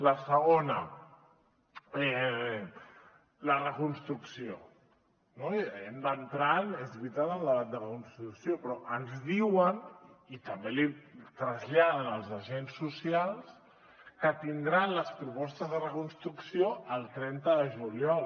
la segona la reconstrucció no hem d’entrar és veritat al debat de reconstrucció però ens diuen i també ho traslladen als agents socials que tindran les propostes de reconstrucció el trenta de juliol